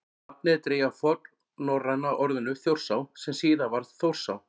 nafnið er dregið af fornnorræna orðinu „þjórsá“ sem síðar varð „þórsá“